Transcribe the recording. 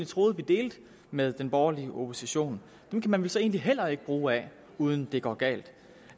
troede vi delte med den borgerlige opposition kan man vel så egentlig heller ikke bruge af uden at det går galt